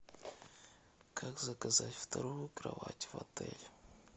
как заказать вторую кровать в отеле